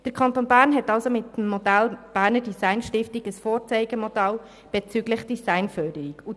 Der Kanton Bern hat somit mit der Berner Design Stiftung ein Vorzeigemodell bezüglich der Designförderung geschaffen.